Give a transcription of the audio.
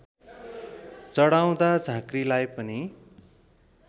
चढाउदा झाँक्रीलाई पनि